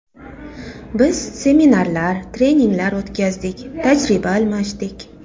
Biz seminarlar, treninglar o‘tkazdik, tajriba almashdik.